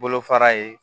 Bolo fara ye